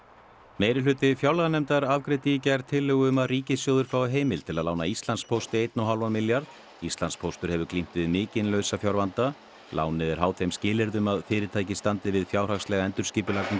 meirihluti fjárlaganefndar afgreiddi í gær tillögu um að ríkissjóður fái heimild til að lána Íslandspósti einn og hálfan milljarð Íslandspóstur hefur glímt við mikinn lausafjárvanda lánið er háð þeim skilyrðum að fyrirtækið standi við fjárhagslega endurskipulagningu